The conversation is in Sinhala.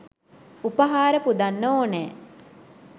උපහාර පුදන්න ඕනෑ.